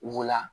Wula